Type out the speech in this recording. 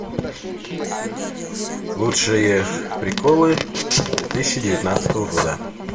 лучшие приколы две тысячи девятнадцатого года